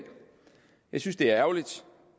jeg synes det er ærgerligt